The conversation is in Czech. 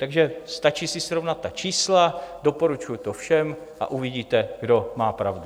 Takže stačí si srovnat ta čísla, doporučuji to všem, a uvidíte, kdo má pravdu.